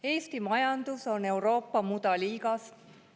Eesti majandus on Euroopa mudaliigas.